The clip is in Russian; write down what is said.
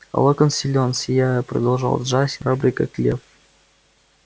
а локонс силен сияя продолжал джастин храбрый как лев